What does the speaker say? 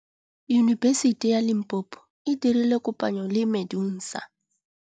Yunibesiti ya Limpopo e dirile kopanyô le MEDUNSA.